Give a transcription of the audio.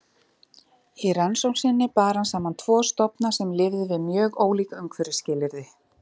Í rannsókn sinni bar hann saman tvo stofna sem lifðu við mjög ólík umhverfisskilyrði.